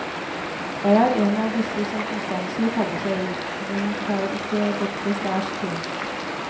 Jeg er en av disse som ustanselig tabber seg ut, men tar ikke dette særs tungt.